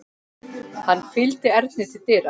Hann fylgdi Erni til dyra.